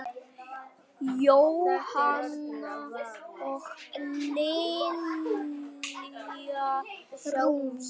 Jóhanna og Lilja Rún.